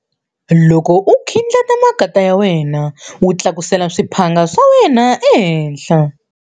Loko u khindlata makatla ya wena, u tlakusela swiphanga swa wena ehenhla.